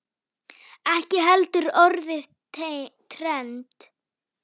Ekki heldur orðið trend.